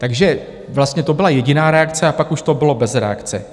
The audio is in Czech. Takže vlastně to byla jediná reakce a pak už to bylo bez reakce.